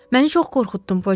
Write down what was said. Məni çox qorxutdun, Polyana.